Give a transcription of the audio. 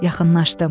Yaxınlaşdım.